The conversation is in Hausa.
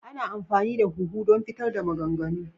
Ana amfani da huhu don fitar da maganganu.